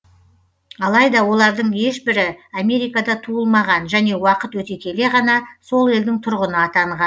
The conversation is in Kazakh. алайда олардың ешбірі америкада туылмаған және уақыт өте келе ғана сол елдің тұрғыны атанған